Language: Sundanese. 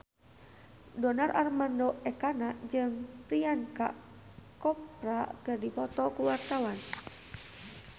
Donar Armando Ekana jeung Priyanka Chopra keur dipoto ku wartawan